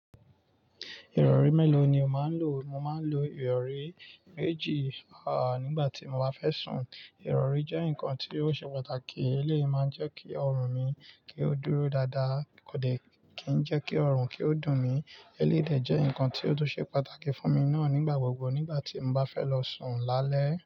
Ìrọ̀rí mélòó ni o máa ń lò? Mo máa ń lo ìrọ̀rí méjì, à, nígbà tí mo bá fẹ́ sùn. Ìrọ̀rí jẹ́ nǹkan tí ó ṣe pàtàkì. Eléyi máa ń jẹ́ kí ọrùn mi kí ó dúró dáadáa kò dẹ̀ kí n jẹ́kí ọrùn kí ó dùn mí. Eléyìí dẹ̀ jẹ́ nǹkan tí ó tún ṣe pàtàkì fún mi náà nígbà gbogbo nígbà tí n bá fẹ́ lọ sùn lálẹ́.